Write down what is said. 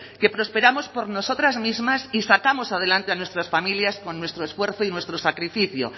que prosperamos por nosotras mismas y sacamos adelante a nuestras familias con nuestro esfuerzo y sacrificio